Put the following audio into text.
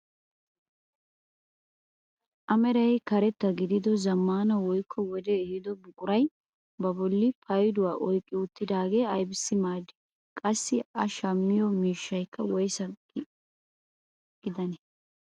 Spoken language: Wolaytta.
A meray karetta gidido zammaana woykko wodee ehido buquray ba bolli payduwaa oyqqi uttidagee aybisi maaddii? Qassi a shammiyo miishshayka woysee giyaan?